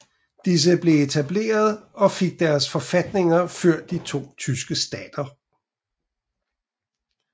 Disse blev etableret og fik deres forfatninger før de to tyske stater